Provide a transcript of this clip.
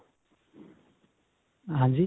ਹਾਂਜੀ?